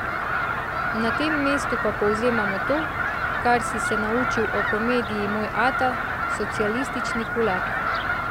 Na tem mestu pa povzemamo to, kar si se naučil o komediji Moj ata, socialistični kulak.